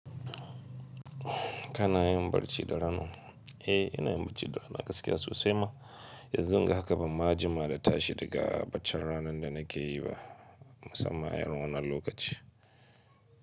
Kana yin barci da rana? Eh, ina yin barci da rana gaskiya sosai ma. Yanzu gahaka ba ma jima da ta shi babci ranan da nake yi ba musamman a irin wannan lokacin.